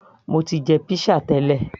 mo ti jẹ pizza tẹ́lẹ̀